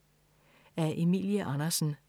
Af Emilie Andersen